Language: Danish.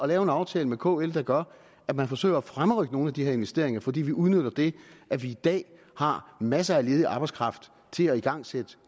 lave en aftale med kl der gør at man forsøger at fremrykke nogle af de her investeringer fordi vi udnytter det at vi i dag har masser af ledig arbejdskraft til at igangsætte